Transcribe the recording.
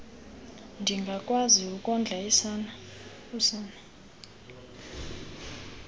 ndingakwazi ukondla usana